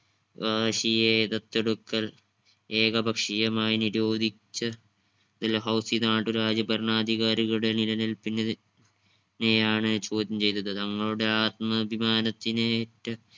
വകാശിയെ ദത്തെടുക്കൽ ഏകപക്ഷീയമായി നിരോധിച്ച ഡൽഹൗസി നാട്ടു രാജ്യ ഭരണാധികാരികളുടെ നിലനിൽപ്പിന് നെയാണ് ചോദ്യം ചെയ്തത് തങ്ങളുടെ ആത്മാഭിമാനത്തിനേറ്റ